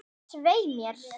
Svei mér.